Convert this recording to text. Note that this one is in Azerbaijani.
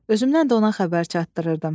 Özümdən də ona xəbər çatdırırdım.